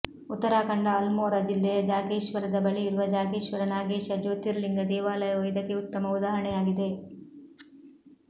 ಉತ್ತರಾಖಂಡ ಅಲ್ಮೋರಾ ಜಿಲ್ಲೆಯ ಜಾಗೇಶ್ವರದ ಬಳಿಯಿರುವ ಜಾಗೇಶ್ವರ ನಾಗೇಶ ಜ್ಯೋತಿರ್ಲಿಂಗ ದೇವಾಲಯವು ಇದಕ್ಕೆ ಉತ್ತಮ ಉದಾಹರಣೆಯಾಗಿದೆ